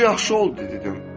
Bu yaxşı oldu dedim.